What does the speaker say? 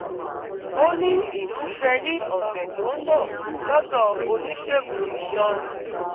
ó ní ìmúṣẹ ní ọ̀sẹ̀ tó ń bọ̀ lọ́dọ̀ oníṣègùn iṣan